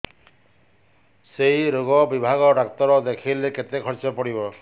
ସେଇ ରୋଗ ବିଭାଗ ଡ଼ାକ୍ତର ଦେଖେଇଲେ କେତେ ଖର୍ଚ୍ଚ ପଡିବ